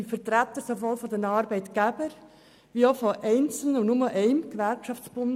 Sie sind Vertreter sowohl der Arbeitgeber als auch eines einzelnen Gewerkschaftsbundes.